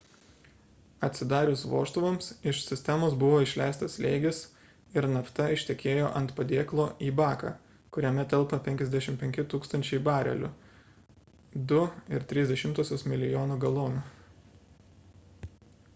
atsidarius vožtuvams iš sistemos buvo išleistas slėgis ir nafta ištekėjo ant padėklo į baką kuriame telpa 55 000 barelių 2,3 mln. galonų